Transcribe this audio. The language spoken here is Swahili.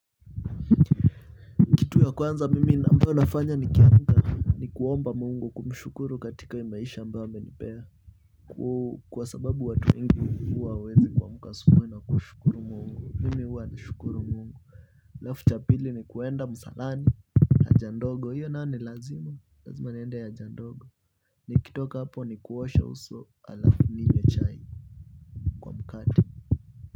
Kitu ya kwanza mimi ambayo nafanya nikiamka. Ni kuomba Mungu kumshukuru katika maisha ambayo amenipea kwa sababu watu wengi huwa hawawezi kuamka asubuhi na kushukuru Mungu, mimi huwa nashukuru alafu cha pili ni kwenda msalani haja ndogo hiyoo nayo ni lazima lazima niende ya haja ndogo. Nikitoka hapo ni kuosha uso alafu ninywe chai kwa mkate.